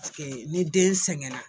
Ni den sɛgɛnna